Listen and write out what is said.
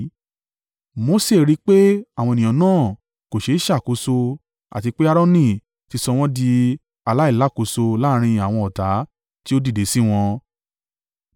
Mose rí pé àwọn ènìyàn náà kò ṣe ṣàkóso àti pé Aaroni ti sọ wọ́n di aláìlákóṣo láàrín àwọn ọ̀tá tí ó dìde sí wọn.